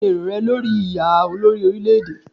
Kíni èrò rẹ lórí ìdìbò yíyá olórí orílè-èdè.